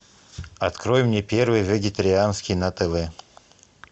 открой мне первый вегетарианский на тв